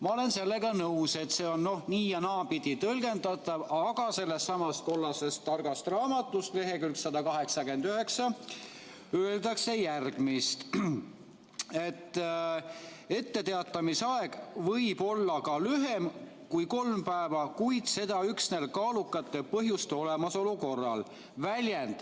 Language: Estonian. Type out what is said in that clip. " Ma olen sellega nõus, et see on nii- ja naapidi tõlgendatav, aga sellessamas kollases targas raamatus leheküljel 189 öeldakse järgmist: "Etteteatamise aeg võib olla ka lühem kui kolm päeva, kuid seda üksnes kaalukate põhjuste olemasolu korral.